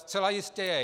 Zcela jistě je.